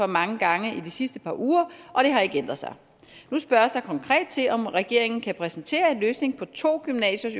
mange gange i de sidste par uger og det har ikke ændret sig nu spørges der konkret til om regeringen kan præsentere en løsning på to gymnasiers